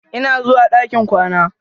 Ina zuwa ɗakin kwana.